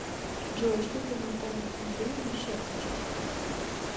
джой что для натальи андреевны счастье